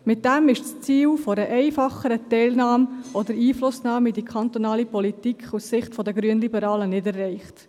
Damit ist das Ziel einer einfacheren Einflussnahme auf die kantonale Politik aus Sicht der Grünliberalen nicht erreicht.